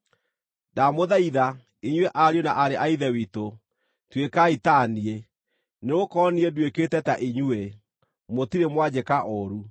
Ndamũthaitha, inyuĩ ariũ na aarĩ a Ithe witũ, tuĩkai ta niĩ, nĩgũkorwo niĩ nduĩkĩte ta inyuĩ. Mũtirĩ mwanjĩka ũũru.